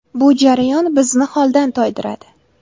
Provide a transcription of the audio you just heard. Bu jarayon bizni holdan toydiradi.